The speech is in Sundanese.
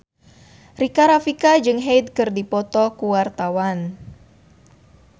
Rika Rafika jeung Hyde keur dipoto ku wartawan